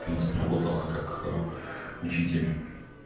в принципе работала как учитель